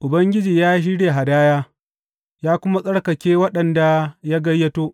Ubangiji ya shirya hadaya; ya kuma tsarkake waɗanda ya gayyato.